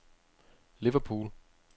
Liverpool